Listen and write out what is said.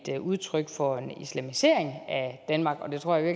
et udtryk for en islamisering af danmark og jeg tror i